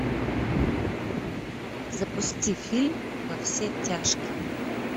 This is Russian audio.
запусти фильм во все тяжкие